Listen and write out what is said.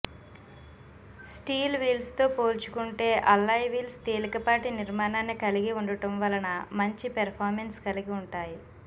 steel వీల్స్తో పోల్చుకుంటే alloy wheels తేలికపాటి నిర్మాణాన్ని కలిగి ఉండటం వలన మంచి పెర్ఫార్మెన్స్ను కలిగి ఉంటాయి